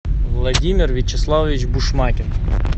владимир вячеславович бушмакин